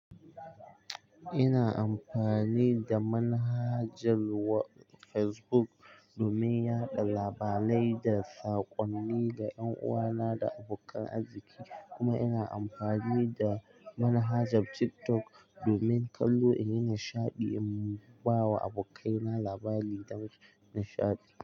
Ina amfani da manhajar facebook, domin yaɗa labarai da sakonni ga ƴan uwana da abokan arziki, kuma ina amfani da manhajar tiktok domin kallo in yi nishaɗi in ba wa abokaina labari dan nishaɗi.